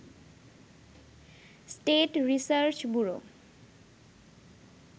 state research bureau